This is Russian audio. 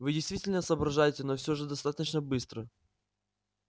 вы действительно соображаете но всё же недостаточно быстро